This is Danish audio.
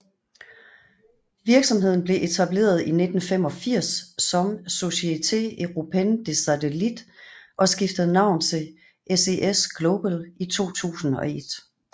Virksomheden blev etableret i 1985 som Société Européenne des Satellites og skiftede navn til SES Global i 2001